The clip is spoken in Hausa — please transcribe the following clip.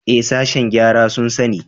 Ee, sashen gyara sun sani.